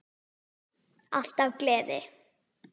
Alltaf gleði.